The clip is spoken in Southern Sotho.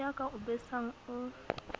ya ka o besang o